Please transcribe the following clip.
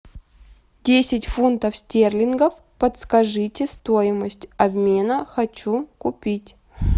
десять фунтов стерлингов подскажите стоимость обмена хочу купить